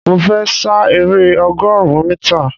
Mo fẹ́ sa eré ọgọrun mítà